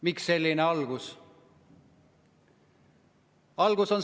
Miks selline algus?